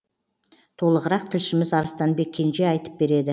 толығырақ тілшіміз арыстанбек кенже айтып береді